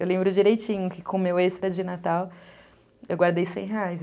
Eu lembro direitinho que com o meu extra de Natal eu guardei seis reais.